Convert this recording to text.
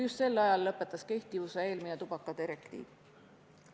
Just sel ajal lõpetas kehtivuse eelmine tubakadirektiiv.